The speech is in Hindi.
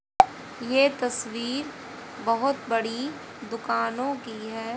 ये तस्वीर बहुत बड़ी दुकानों की है।